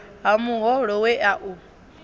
ha muholo we a u